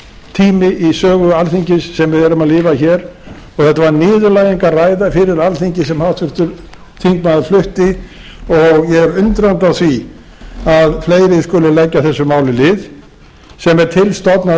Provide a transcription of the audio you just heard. niðurlægingartími í sögu alþingis sem við erum að lifa hér og þetta var niðurlægingarræða fyrir alþingi sem háttvirtur þingmaður flutti og ég er undrandi á því að fleiri skuli leggja þessu máli lið sem er til stofnað